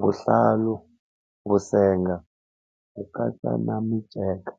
vuhlalu, vusenga ku katsa na miceka.